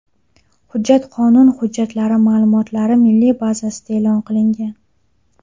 Hujjat qonun hujjatlari ma’lumotlari milliy bazasida e’lon qilingan.